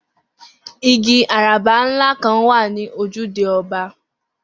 Igi àràbá ńlá kan wà ní ojúde o̩ba̩